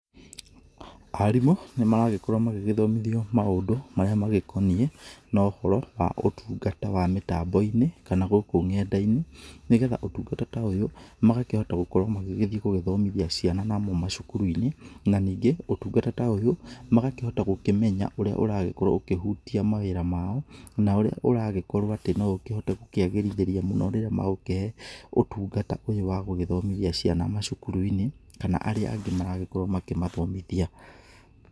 Arimũ nĩ maragĩkorwo magĩgĩthomithio maũndũ marĩa magĩkoniĩ na ũhoro wa ũtungata wa mĩtambo-inĩ kana gũkũ nenda-inĩ, nĩgetha ũtungata ta ũyũ magakĩhota gũgĩkorwo magĩthiĩ gũgĩthomithia ciana namo macukuru-inĩ, na ningĩ ũtungata ta ũyũ magakĩhota gũkĩmenya ũrĩa ũragĩkorwo ũkĩhutia mawĩra mao, na ũrĩa ũragĩkorwo atĩ no ũkĩhote gũkĩagĩrithĩria mũno rĩria magũkĩhe ũtungata ũyũ wagũgĩthomithia ciana macukuru-inĩ, kana arĩa angĩ marakorwo makĩmathomithia.